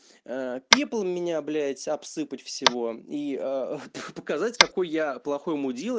пипл меня блять обсыпать всего и показать какой я плохой мудила